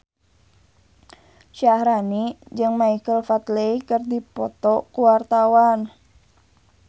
Syaharani jeung Michael Flatley keur dipoto ku wartawan